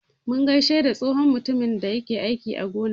Mun gaishe da tsohon mutumin da yake aiki a gona.